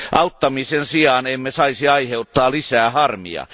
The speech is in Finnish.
Auttamisen sijaan emme saisi aiheuttaa lisää harmia.